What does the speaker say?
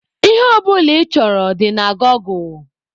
Ihe ọ bụla ị chọrọ dị na gọgụ.